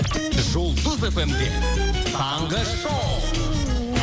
жұлдыз эф эм де таңғы шоу